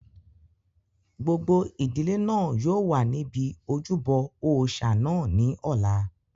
Gbogbo ìdílé náà yóò wà níbi ojúbọ òòsà náà ní ọ̀la